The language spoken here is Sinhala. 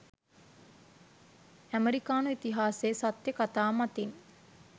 අමෙරිකානු ඉතිහාසයේ සත්‍ය කතා මතින්